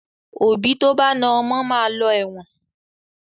Òbí tó bá na ọmọ máa lọ ẹ̀wọ̀n.